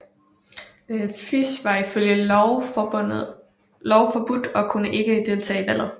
FIS var ifølge lov forbudt og kunne ikke deltage i valget